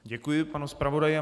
Děkuji panu zpravodaji.